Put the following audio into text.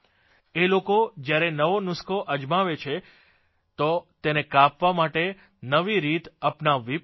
એ લોકો જયારે નવો નુસ્ખો અજમાવે છે તો તેને કાપવા માટે નવી રીત અપનાવવી પડે છે